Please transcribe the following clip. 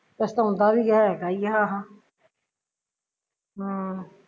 ਪਛਤਾਉਂਦਾ ਵੀ ਹੈਗਾ ਈ ਆਹ ਹਮ